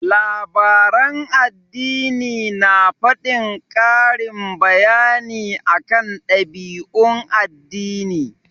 Labaran addini na faɗin ƙarin bayani akan ɗabi'un addini.